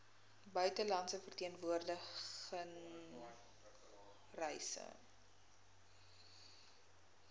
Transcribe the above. buitelandse verteenwoordiging reise